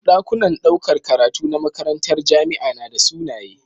Dakunan ɗaukar karatu na makarantar jamia nada sunaye